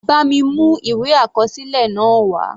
Bá mi mú ìwé àkọsílẹ̀ náà wá.